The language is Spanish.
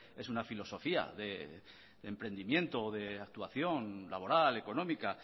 es una filosofía de emprendimiento o de actuación laboral económica